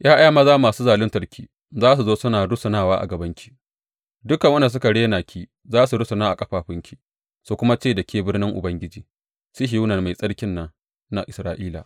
’Ya’ya maza masu zaluntarku za su zo suna rusunawa a gabanki; dukan waɗanda suka rena ki za su rusuna a ƙafafunki su kuma ce da ke Birnin Ubangiji, Sihiyona na Mai Tsarkin nan na Isra’ila.